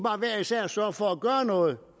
sørge for at gøre noget